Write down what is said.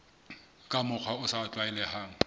ka mokgwa o sa tlwaelehang